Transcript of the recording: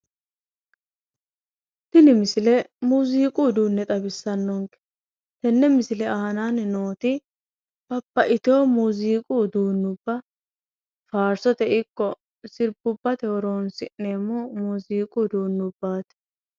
Tini misile muuziiqu uduunne xawissannonke. Tenne misile aanaanni nooti babbaxxiteyo muuziiqu uduunnubba faarsote ikko sirbubbate horoonsi'neemmo muuziiqu uduunnubbaati.